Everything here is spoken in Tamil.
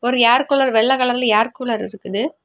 ஒரு ஏர்கூலர் வெள்ள கலர்ல ஏர்கூலர் இருக்குது.